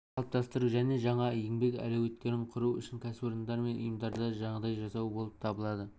пікір қалыптастыру және жаңа еңбек әулеттерін құру үшін кәсіпорындар мен ұйымдарда жағдай жасау болып табылады